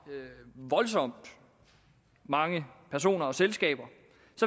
voldsomt mange personer og selskaber